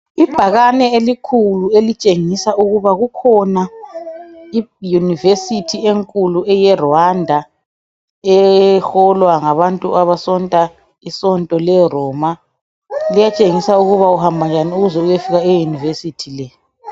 Ibhakani elikhulu elitshengisa ukuthi kukhona iUniversity enkulu eyeRwanda eholwa ngabantu abasonta isonto leRoma liyatshengisa ukuthi uhamba njani ukuze iyefika e university